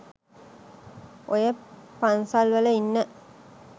ඔය පන්සල් වල ඉන්න